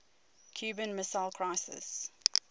cuban missile crisis